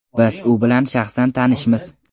Biz u bilan shaxsan tanishmiz.